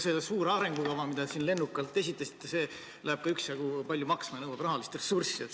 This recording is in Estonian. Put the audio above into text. See suur arengukava, mida te siin lennukalt esitlesite, läheb ka üksjagu palju maksma, nõuab kõvasti rahalist ressurssi.